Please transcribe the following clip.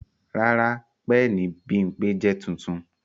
Rara, pẹẹni Bimpe jẹ tuntun